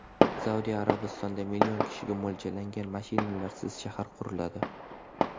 Saudiya Arabistonida million kishiga mo‘ljallangan mashinalarsiz shahar quriladi.